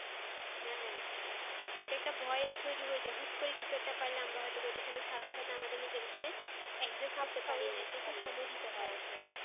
হ্যাঁ এটা একটা ভয়ের তৈরি হয়ে যায় হুট করে কিছু একটা পাইলে আমরা হয়তো সেটার সাথে আমাদের নিজেদেরকে একজায়গায় আনতে পারিনা এটা একটু সময় দিতে হয়